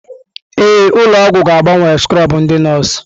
Ee, ụlọ ọgwụ ga-agbanwe skrọbụ ndị nọọsụ.